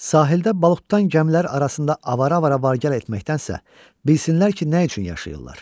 Sahildə balıq tutan gəmilər arasında avara-avara vargəl etməkdənsə, bilsinlər ki nə üçün yaşayırlar.